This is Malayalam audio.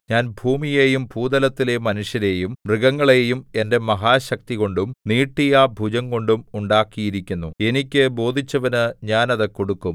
ഞാൻ ഭൂമിയെയും ഭൂതലത്തിലെ മനുഷ്യരെയും മൃഗങ്ങളെയും എന്റെ മഹാശക്തികൊണ്ടും നീട്ടിയ ഭുജംകൊണ്ടും ഉണ്ടാക്കിയിരിക്കുന്നു എനിക്ക് ബോധിച്ചവനു ഞാൻ അത് കൊടുക്കും